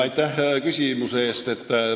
Aitäh küsimuse eest!